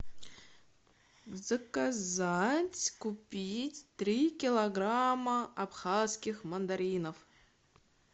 заказать купить три килограмма абхазских мандаринов